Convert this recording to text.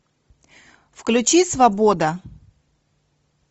включи свобода